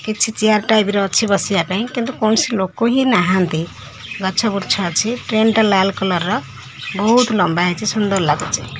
କିଛି chair type ର ଅଛି ବସିବା ପାଇଁ। କିନ୍ତୁ କୌଣସି ଲୋକ ହିଁ ନାହାଁନ୍ତି ଗଛ ବୁର୍ଚ୍ଛ ଅଛି ଟ୍ରେନ୍ ଟା ଲାଲ୍ କଲର୍ ର। ବୋହୁତ ଲମ୍ବା ହେଇଚି ସୁନ୍ଦର ଲାଗୁଚି।